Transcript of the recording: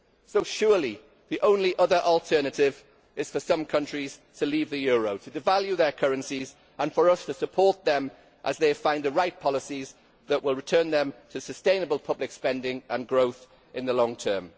So surely the only other alternative is for some countries to leave the euro, to devalue their currencies and for us to support them as they find the right policies that will return them to sustainable public spending and growth in the long term.